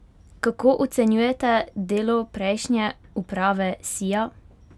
Kako ocenjujete delo prejšnje uprave Sija?